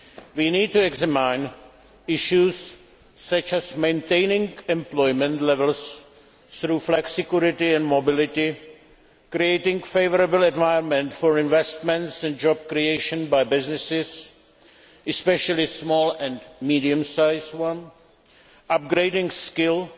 We need to examine issues such as maintaining employment levels through flexicurity and mobility, creating a favourable environment for investments and job creation by businesses, especially small and medium sized ones, upgrading skills